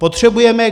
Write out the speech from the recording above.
Potřebujeme.